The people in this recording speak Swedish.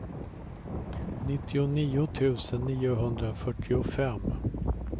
nittionio tusen niohundrafyrtiofem